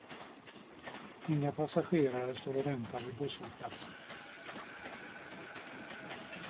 Inga passagerare står och väntar vid busshållplatsen.